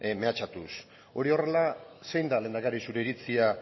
mehatxatuz hori horrela zein da lehendakari zure iritzia